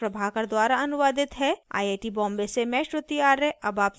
यह स्क्रिप्ट प्रभाकर द्वारा अनुवादित है आई आई टी बॉम्बे से मैं श्रुति आर्य आपसे विदा लेती हूँ